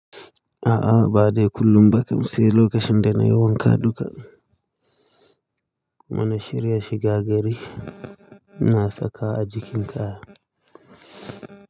A'a ba dai kullum ba, kam sai lokacin da na yi wanka duka. Muna shirya shiga gari na saka a jikinka.